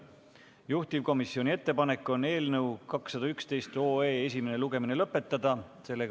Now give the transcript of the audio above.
Juhtivkomisjoni ettepanek on eelnõu 211 esimene lugemine lõpetada.